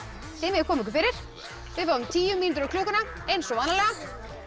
þið megið koma ykkur fyrir við fáum tíu mínútur á klukkuna eins og vanalega